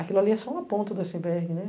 Aquilo ali é só uma ponta do iceberg, né?